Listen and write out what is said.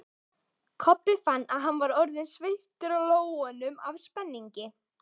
Kobbi fann að hann var orðinn sveittur í lófunum af spenningi.